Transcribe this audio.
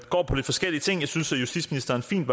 går på lidt forskellige ting jeg synes at justitsministeren fint